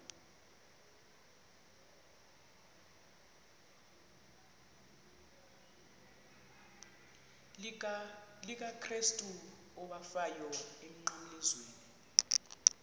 likakrestu owafayo emnqamlezweni